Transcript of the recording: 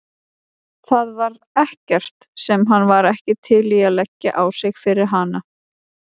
Það var ekkert sem hann var ekki til í að leggja á sig fyrir hana.